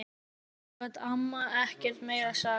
Svo gat amma ekkert meira sagt.